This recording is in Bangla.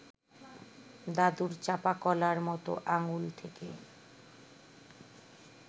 দাদুর চাঁপাকলার মতো আঙুল থেকে